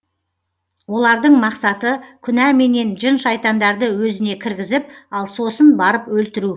олардың мақсаты күнәменен жын шайтандарды өзіне кіргізіп ал сосын барып өлтіру